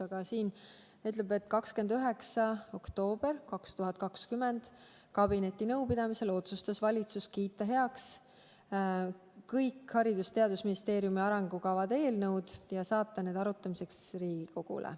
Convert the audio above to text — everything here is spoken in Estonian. Aga siin on öeldud, et 29. oktoobri 2020 kabinetinõupidamisel otsustas valitsus kiita heaks kõik Haridus- ja Teadusministeeriumi arengukavade eelnõud ja saata need arutamiseks Riigikogule.